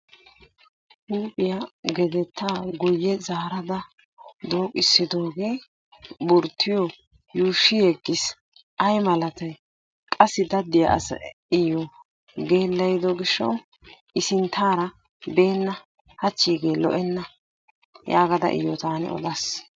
Huuphiya gedettaa guyye zaarada dooqissidoogee burttiyo yuushshi yeggis. Ayi malatayi qassi daddiya asayi iyyo geellayido gishshawu i sinttaara beenna hachchiigee lo"enna yaagada iyyo taani odaas.